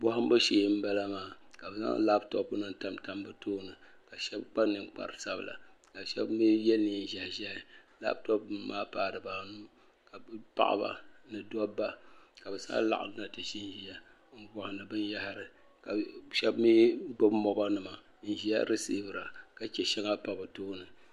Bohambu shee n bala maa ka bi zaŋ labtop nim tam tam bi tooni shab kpa ninkpari sabila ka shab mii yɛ neen ʒiɛhi ʒiɛhi labtop nim maa paai dibaanu ka paɣaba ni dabba ka bi zaa laɣamna ti ʒinʒiya n bohandi binyahari ka shab mii gbubi mobal nima n ʒiya resiivira ka chɛ shɛŋa pa bi tooni